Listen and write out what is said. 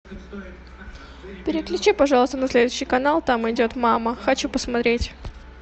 переключи пожалуйста на следующий канал там идет мама хочу посмотреть